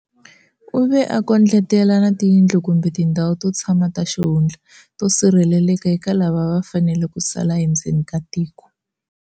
U ve a kondletela na tiyindlu kumbe tindhawu to tshama ta xihundla to sirheleleka eka lava a va fanele ku sala endzeni ka tiko.